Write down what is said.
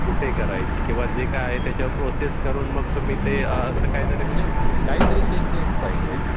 कुठे करायची, किंवा जे काही आहे त्याच्यावर प्रोसेस करून मग तुम्ही ते असं काहीतरी म्हणजे ते काहीतरी चेकलिस्ट पाहिजे हयाच्यावर.